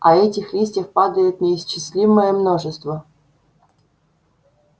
а этих листьев падает неисчислимое множество